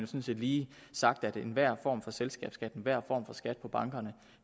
set lige sagt at enhver form for selskabsskat enhver form for skat på bankerne